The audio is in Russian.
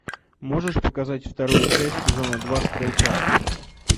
можешь показать вторую часть сезона два стрелка